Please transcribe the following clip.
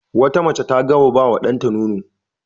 Wata mace ta gama ba wa ɗanta nono.